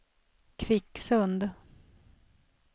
Kvicksund